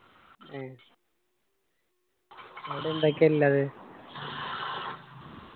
ഏ. അവിടെ എന്തൊക്കെ ഇല്ലത്?